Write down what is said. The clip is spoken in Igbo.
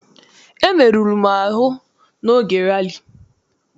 Emeruru m ahụ n'oge rali.